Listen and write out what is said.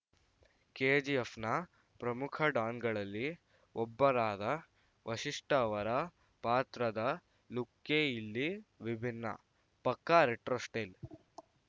KGF ನ ಪ್ರಮುಖ ಡಾನ್‌ಗಳಲ್ಲಿ ಒಬ್ಬರಾದ ವಶಿಷ್ಟ ಅವರ ಪಾತ್ರದ ಲುಕ್ಕೇ ಇಲ್ಲಿ ವಿಭಿನ್ನ ಪಕ್ಕಾ ರೆಟ್ರೋ ಸ್ಟೈಲ್‌